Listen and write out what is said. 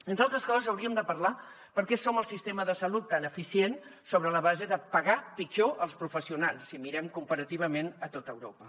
entre altres coses hauríem de parlar de per què tenim un sistema de salut tan eficient sobre la base de pagar pitjor els professionals si mirem comparativament a tot europa